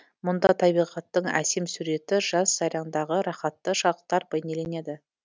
мұнда табиғаттың әсем суреті жаз сайраңдағы рахатты шақтар байнеленеді